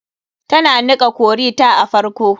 Tana niƙa curry ta a farko.